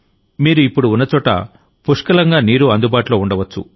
మీరు ఇప్పుడు ఉన్న చోట పుష్కలంగా నీరు అందుబాటులో ఉండవచ్చు